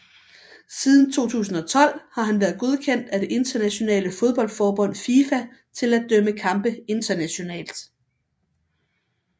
Siden 2012 har han været godkendt af det internationale fodboldforbund FIFA til at dømme kampe internationalt